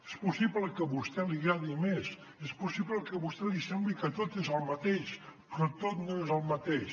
és possible que a vostè li agradi més és possible que a vostè li sembli que tot és el mateix però tot no és el mateix